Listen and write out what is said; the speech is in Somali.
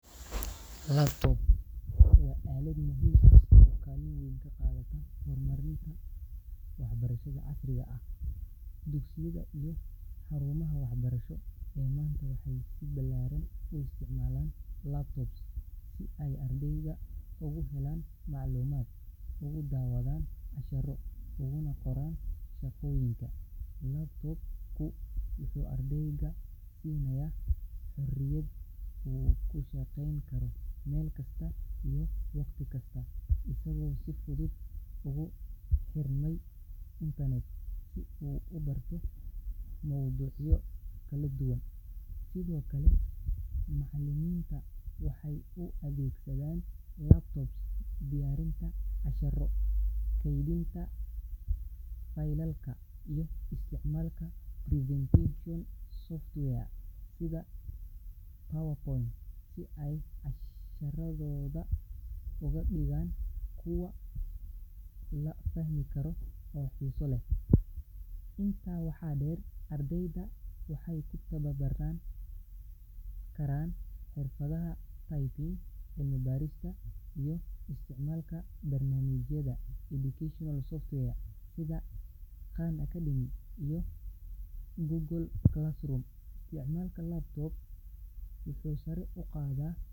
Laptop waa aalad muhiim ah oo kaalin weyn ka qaadata horumarinta waxbarashada casriga ah. Dugsiyada iyo xarumaha waxbarasho ee maanta waxay si ballaaran u isticmaalaan laptops si ay ardayda ugu helaan macluumaad, ugu daawadaan casharro, uguna qoraan shaqooyinka. Laptop-ku wuxuu ardayga siinayaa xorriyad uu ku shaqayn karo meel kasta iyo wakhti kasta, isagoo si fudud ugu xirmaya internet si uu u barto mowduucyo kala duwan. Sidoo kale macallimiinta waxay u adeegsadaan laptops diyaarinta casharro, kaydinta faylalka, iyo isticmaalka presentation software sida PowerPoint si ay casharradooda uga dhigaan kuwo la fahmi karo oo xiiso leh. Intaa waxaa dheer, ardayda waxay ku tababaran karaan xirfadaha typing, cilmi-baarista, iyo isticmaalka barnaamijyada educational software sida Khan Academy iyo Google Classroom. Isticmaalka laptop wuxuu sare u qaadaa.